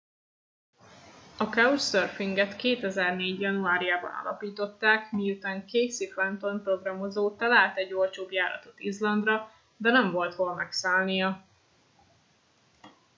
a couchsurfing et 2004 januárjában alapították miután casey fenton programozó talált egy olcsó járatot izlandra de nem volt hol megszállnia